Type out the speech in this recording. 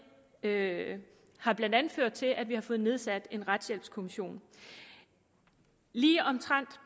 det har blandt andet ført til at vi har fået nedsat en retshjælpskommission lige omtrent